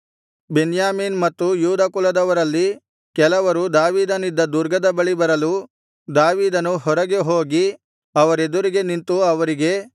ಬೆನ್ಯಾಮೀನ್ ಮತ್ತು ಯೂದ ಕುಲದವರಲ್ಲಿ ಕೆಲವರು ದಾವೀದನಿದ್ದ ದುರ್ಗದ ಬಳಿಗೆ ಬರಲು ದಾವೀದನು ಹೊರಗೆ ಹೋಗಿ ಅವರೆದುರಿಗೆ ನಿಂತು ಅವರಿಗೆ